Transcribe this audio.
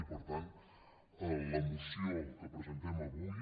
i per tant la moció que presentem avui